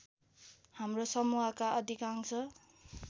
हाम्रो समूहका अधिकांश